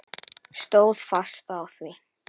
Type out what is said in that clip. Stóð fast á því.